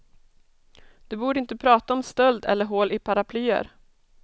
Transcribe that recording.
Du borde inte prata om stöld eller hål i paraplyer.